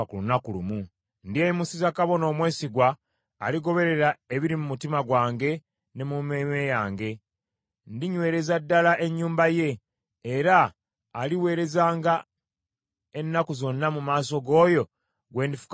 Ndyeyimusiza kabona omwesigwa, aligoberera ebiri mu mutima gwange ne mu mmeeme yange. Ndinywereza ddala ennyumba ye, era aliweerezanga ennaku zonna mu maaso g’oyo gwe ndifukako amafuta.